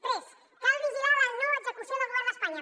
tres cal vigilar la no execució del govern d’espanya